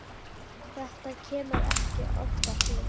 Þetta kemur ekki oftar fyrir.